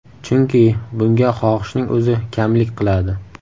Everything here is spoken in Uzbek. Chunki bunga xohishning o‘zi kamlik qiladi.